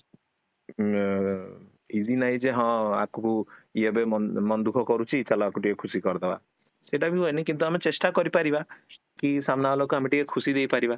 ଅ easy ନାହିଁ ଯେ ହଁ ୟାକୁ ୟେ ଏବେ ମନ ଦୁଃଖ କରୁଛି ଚାଲ ୟାକୁ ଟିକେ ଖୁସି କରିଦବା, ସେତବି ହୁଏନି କିନ୍ତୁ ଆମେ ଚେଷ୍ଟା କରିପାରିବା କି ସାମ୍ନା ବାଳକୁ ଆମେ ଟିକେ ଖୁସି ଦେଇ ପାରିବା